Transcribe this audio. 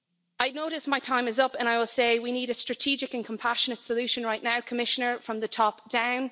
I notice my time is up, and I will say we need a strategic and compassionate solution right now, Commissioner, from the top down.